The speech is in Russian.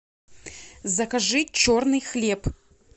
закажи черный хлеб